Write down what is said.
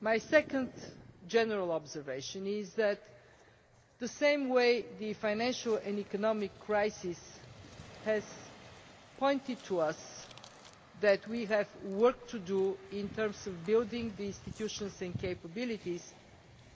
My second general observation is that, in the same way that the financial and economic crisis has pointed out to us that we have work to do in terms of building the institutions and capabilities